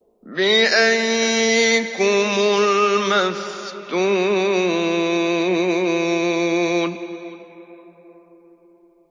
بِأَييِّكُمُ الْمَفْتُونُ